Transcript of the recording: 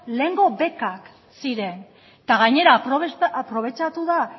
lehengo bekak ziren eta gainera aprobetxatu da